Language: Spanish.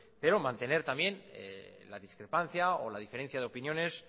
pero mantener también la discrepancia o la diferencia de opiniones